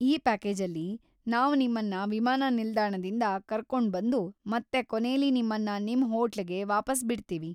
ಈ ಪ್ಯಾಕೇಜಲ್ಲಿ, ನಾವ್‌ ನಿಮ್ಮನ್ನ ವಿಮಾನ ನಿಲ್ದಾಣದಿಂದ ಕರ್ಕೊಂಡ್ಬಂದು ಮತ್ತೆ ಕೊನೇಲಿ ನಿಮ್ಮನ್ನ ನಿಮ್‌ ಹೋಟ್ಲಿಗೆ ವಾಪಸ್ ಬಿಡ್ತೀವಿ.